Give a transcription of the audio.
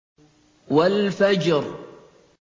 وَالْفَجْرِ